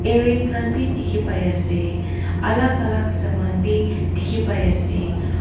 earing khan bhi dekhi pai ase alag alag saman bhi dekhi pai ase.